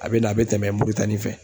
A bɛ na a bɛ tɛmɛ Mauritanie fɛ